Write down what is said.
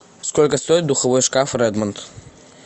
сколько стоит духовой шкаф редмонд